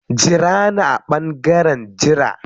Jira ni a ɓangaren jira.